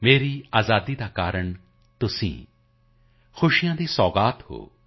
ਮੇਰੀ ਆਜ਼ਾਦੀ ਕਾ ਕਾਰਣ ਤੁਮ ਖੁਸ਼ੀਓ ਕੀ ਸੌਗਾਤ ਹੋ